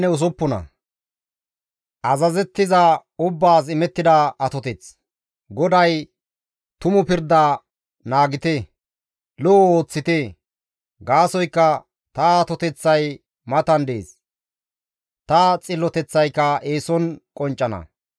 GODAY, «Tumu pirda naagite; lo7o ooththite; gaasoykka ta atoteththay matan dees; ta xilloteththayka eeson qonccana.